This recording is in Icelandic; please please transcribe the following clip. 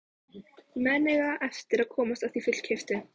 Menn eiga eftir að komast að því fullkeyptu.